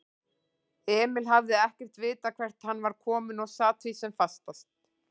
Emil hafði ekkert vitað hvert hann var kominn og sat því sem fastast.